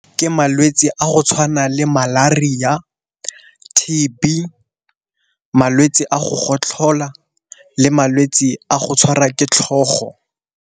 Ke malwetsi a go tshwana le Malaria, T_B, malwetsi a go gotlhola le malwetsi a go tshwarwa ke tlhogo.